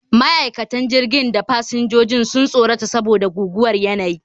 Ma'aikatan jirgin da fasinjojin sun tsorata saboda guguwar yanayi